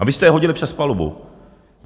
A vy jste je hodili přes palubu.